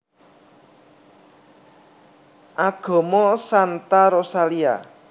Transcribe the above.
Agama Santa Rosalia